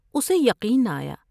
اسے یقین نہ آیا ۔